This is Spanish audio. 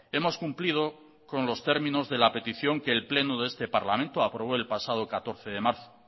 hemos cumplido con los términos de la petición que el pleno de este parlamento aprobó el pasado catorce de marzo